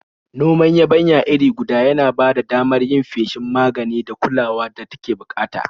Noman yabanya iri guda ya na ba da damar yin feshin magani da kulawar da take bukata.